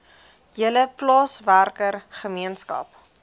hele plaaswerker gemeenskap